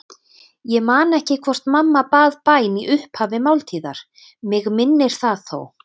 Ég man ekki hvort mamma bað bæn í upphafi máltíðar, mig minnir það þó.